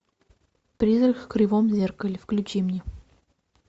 призрак в кривом зеркале включи мне